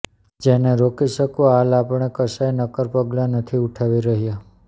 જેને રોકી શકવા હાલ આપણે કશાય નક્કર પગલાં નથી ઉઠાવી રહ્યા